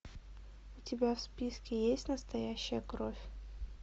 у тебя в списке есть настоящая кровь